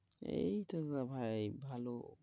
এই তো গো ভাই ভালো।